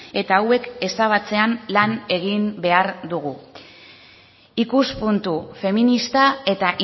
eta hauek ezabatzean lan egin behar dugu ikuspuntu feminista eta